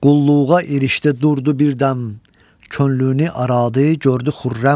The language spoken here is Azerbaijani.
Qulluğa erişdi durdu birdəm, könlünü aradı gördü xürrəm.